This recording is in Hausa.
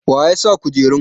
waye ya sa kujerun?